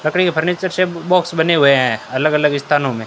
लकरी का फर्नीचर से बॉक्स बने हुए हैं अलग अलग स्थानो में--